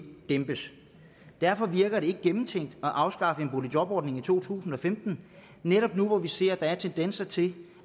dæmpes derfor virker det ikke gennemtænkt at afskaffe boligjobordningen i to tusind og femten netop nu hvor vi ser at der er tendenser til